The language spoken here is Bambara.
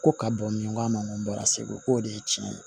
Ko ka bon min k'a ma n ko n bɔra segu k'o de ye tiɲɛ ye